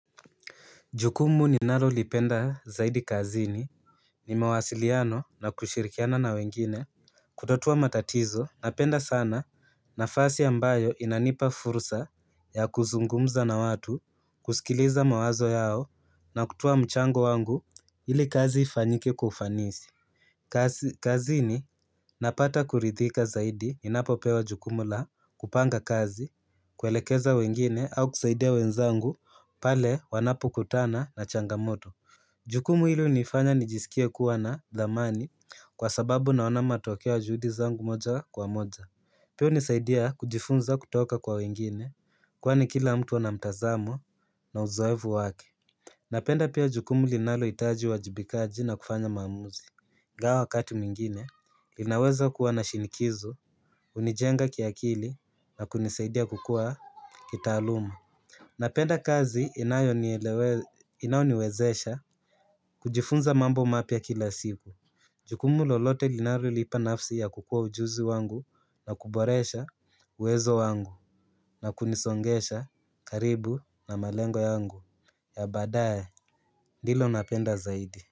Jukumu ninalolipenda zaidi kazini ni mawasiliano na kushirikiana na wengine kutatua matatizo napenda sana nafasi ambayo inanipa fursa ya kuzungumza na watu kusikiliza mawazo yao na kutoa mchango wangu ili kazi ifanyike kwaufanisi kazini napata kuridhika zaidi ninapopewa jukumu la kupanga kazi, kuelekeza wengine au kusaidia wenzangu pale wanapokutana na changamoto Jukumu hilo linifanya nijisikia kuwa na dhamani kwa sababu naona matokea ya juhudi zangu moja kwa moja Pia hunisaidia kujifunza kutoka kwa wengine kwani kila mtu ana mtazamo na uzoevu wake Napenda pia jukumu linalohitaji uwajibikaji na kufanya maamuzi ingawa wakati mwingine linaweza kuwa na shinikizo hunijenga kiakili na kunisaidia kukua kitaaluma Napenda kazi inayoniwezesha kujifunza mambo mapya kila siku Jukumu lolote linalolipa nafsi ya kukua ujuzi wangu na kuboresha uwezo wangu na kunisongesha karibu na malengo yangu ya baada ye ndilo napenda zaidi.